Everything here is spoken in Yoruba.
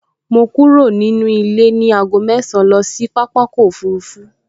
Mo kúrò nílé ní aago mẹ́ẹ̀sán lọ sí pápákọ̀ òfurufú